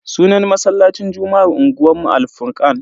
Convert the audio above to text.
Sunan masallacin juma'ar unguwanmu Al-furkan.